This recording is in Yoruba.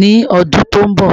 ni ọdun to nbọ